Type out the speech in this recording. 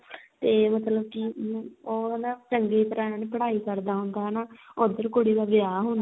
ਤੇ ਮਤਲਬ ਕੀ ਉਹ ਹਨਾ ਚੰਗੀ ਤਰ੍ਹਾਂ ਪੜ੍ਹਾਈ ਕਰਦਾ ਹੁੰਦਾ ਹਨਾ ਉੱਧਰ ਕੁੜੀ ਦਾ ਵਿਆਹ ਹੁੰਦਾ